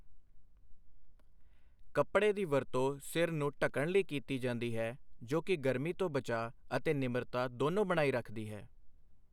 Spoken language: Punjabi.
ਕੱਪੜੇ ਦੀ ਵਰਤੋਂ ਸਿਰ ਨੂੰ ਢਕਣ ਲਈ ਕੀਤੀ ਜਾਂਦੀ ਹੈ ਜੋ ਕਿ ਗਰਮੀ ਤੋਂ ਬਚਾਅ ਅਤੇ ਨਿਮਰਤਾ ਦੋਨੋ ਬਣਾਈ ਰੱਖਦੀ ਹੈ I